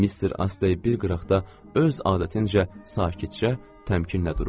Mister Astey bir qıraqda öz adətincə sakitcə təmkinnə dururdu.